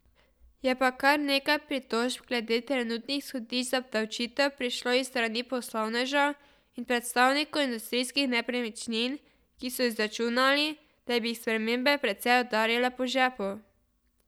Je pa kar nekaj pritožb glede trenutnih izhodišč za obdavčitev prišlo iz strani poslovnežev in predstavnikov industrijskih nepremičnin, ki so izračunali, da bi jih spremembe precej udarile po žepu.